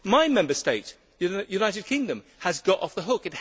My Member State, the United Kingdom, has got off the hook.